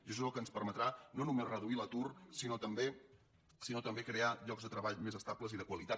i això és el que ens permetrà no només reduir l’atur sinó també crear llocs de treball més estables i de qualitat